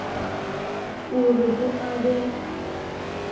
o re ho a be